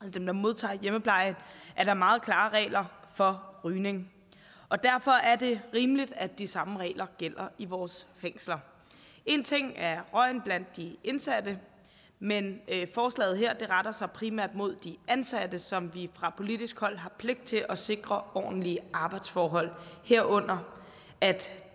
dem der modtager hjemmepleje er der meget klare regler for rygning og derfor er det rimeligt at de samme regler gælder i vores fængsler en ting er røgen blandt de indsatte men forslaget her retter sig primært mod de ansatte som vi fra politisk hold har pligt til at sikre ordentlige arbejdsforhold herunder at